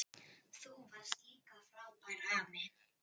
Þú varst líka frábær afi.